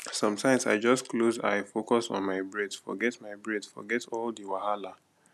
sometimes i just close eye focus on my breath forget my breath forget all the wahala